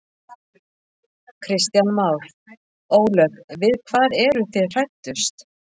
Kristján Már: Ólöf við hvað eru þið hræddust?